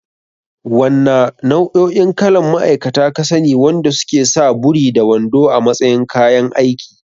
Wanna nau'o'in kalan ma'aikata ka sani wanda suke sa buri da wando a matsayin kayan aiki?